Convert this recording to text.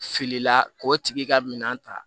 Filila k'o tigi ka minan ta